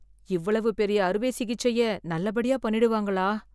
இவ்வளவு பெரிய அறுவை சிகிச்சை நல்லபடியா பண்ணிடுவாங்களா.